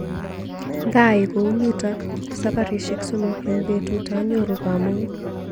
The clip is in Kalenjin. Ngaai kounitok sabarishek somok eng betut anyoru kamung.